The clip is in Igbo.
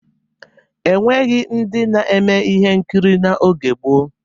E nweghi ndị na-eme ihe nkiri n'oge gboo.